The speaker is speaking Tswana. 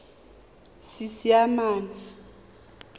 seesimane